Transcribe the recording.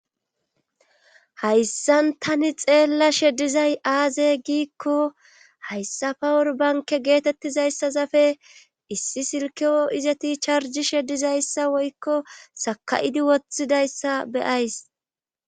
hayssan tani xeella shedizay aaze giikko hayssafa urbanke geetettizayssa zafe issi silkeo izati charji shedizayssa woykko saka7idi woththidayssa be'ays